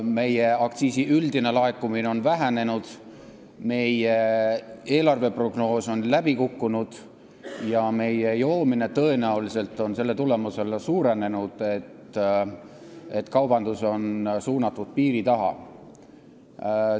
Üldine aktsiisilaekumine on vähenenud, eelarveprognoos on läbi kukkunud ja joomine on selle tulemusel, et kaubandus on suunatud piiri taha, tõenäoliselt suurenenud.